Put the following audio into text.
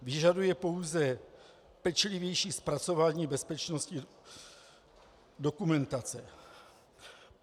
Vyžaduje pouze pečlivější zpracování bezpečnostní dokumentace.